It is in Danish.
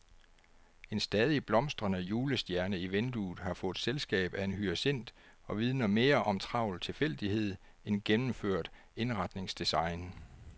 En stadig blomstrende julestjerne i vinduet har fået selskab af en hyacint og vidner mere om travl tilfældighed end gennemført indretningsdesign.